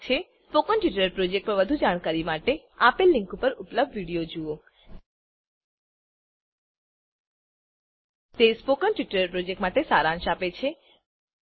spoken tutorial project પર વધુ જાણકારી માટે આપેલ લીંક પર ઉપલબ્ધ વિડીયો જુઓspoken tutorialorgWhat is a Spoken Tutorial તે સ્પોકન ટ્યુટોરીયલ પ્રોજેક્ટનો સારાંશ આપે છે